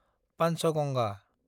Panchganga